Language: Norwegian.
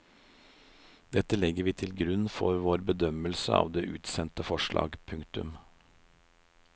Dette legger vi til grunn for vår bedømmelse av det utsendte forslag. punktum